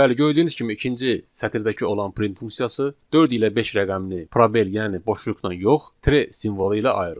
Bəli, gördüyünüz kimi ikinci sətirdəki olan print funksiyası 4 ilə 5 rəqəmini probel, yəni boşluqla yox, tre simvolu ilə ayırır.